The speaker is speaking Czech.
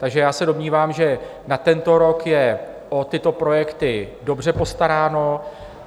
Takže já se domnívám, že na tento rok je o tyto projekty dobře postaráno.